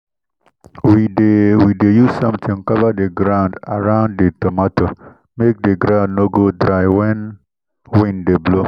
we dey we dey use something cover the ground around the tomato make the ground no go dry when wind dey blow